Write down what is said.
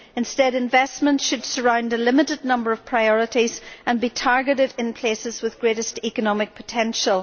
Instead, investment should surround a limited a number of priorities and be targeted where there is the greatest economic potential.